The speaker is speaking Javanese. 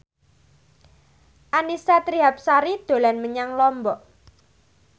Annisa Trihapsari dolan menyang Lombok